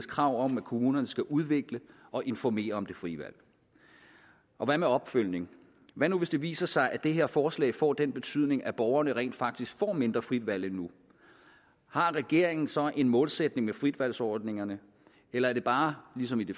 krav om at kommunerne skal udvikle og informere om det frie valg og hvad med opfølgning hvad nu hvis det viser sig at det her forslag får den betydning at borgerne rent faktisk får mindre frit valg end nu har regeringen så en målsætning med fritvalgsordningerne eller er det bare ligesom i det